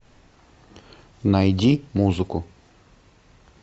найди музыку